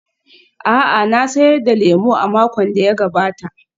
A'a, na sayar da lemo a makon da ya gabata.